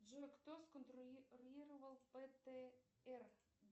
джой кто сконструировал бтр